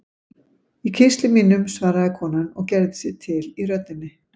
Í kistli mínum, svaraði konan og gerði sig til í röddinni.